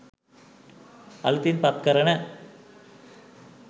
අලුතින් පත් කරන